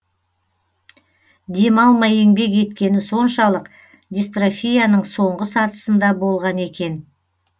демалмай еңбек еткені соншалық дистрофияның соңғы сатысында болған екен